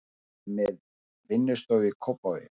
Er með vinnustofu í Kópavogi.